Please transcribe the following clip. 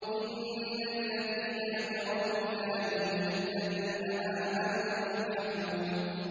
إِنَّ الَّذِينَ أَجْرَمُوا كَانُوا مِنَ الَّذِينَ آمَنُوا يَضْحَكُونَ